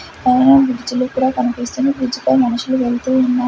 పైన బిజ్జులు కూడా కనిపిస్తున్నాయి బ్రిడ్జ్ పై మనుషులు వెళ్తూ ఉన్నా--